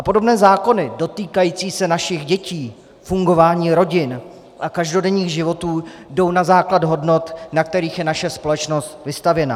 A podobné zákony dotýkající se našich dětí, fungování rodin a každodenních životů, jdou na základ hodnot, na kterých je naše společnost vystavěna.